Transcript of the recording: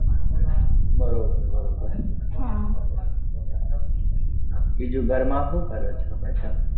બરોબર બરોબર હા બીજું ઘર માં હું કરો છો બધા